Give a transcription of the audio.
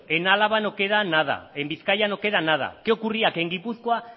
que en álava no queda nada en bizkaia no queda nada qué ocurría que en gipuzkoa